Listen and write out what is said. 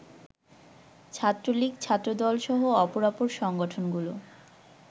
ছাত্রলীগ, ছাত্রদলসহ অপরাপর সংগঠনগুলো